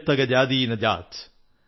ജബ് തക ജാതി ന ജാത്